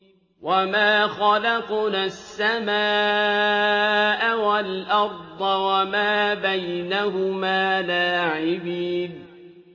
وَمَا خَلَقْنَا السَّمَاءَ وَالْأَرْضَ وَمَا بَيْنَهُمَا لَاعِبِينَ